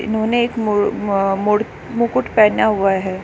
इन्होने एक मुर-अ-मुड़ मुकुट पहना हुआ है।